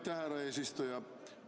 Aitäh, härra eesistuja!